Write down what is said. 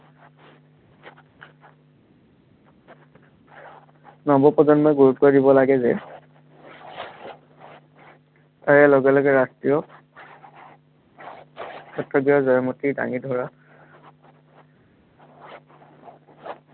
নৱপ্ৰজন্মই গুৰুত্ব দিব লাগে যে তাৰে লগে লগে ৰাষ্ট্ৰীয় ক্ষেত্ৰত জয়মতীক দাঙি ধৰাত